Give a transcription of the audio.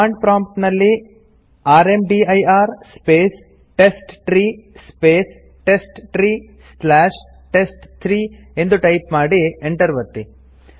command prompt ನಲ್ಲಿ rmdir space test tree space test tree slash test three ಎಂದು type ಮಾಡಿ Enter ಒತ್ತಿ